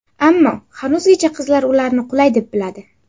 Ammo hanuzgacha qizlar ularni qulay deb biladi.